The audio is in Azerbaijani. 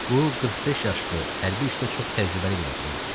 Bu 45 yaşlı, hərbi işdə çox təcrübəli bir adam idi.